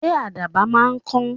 Ṣé àdàbà máa ń kọ?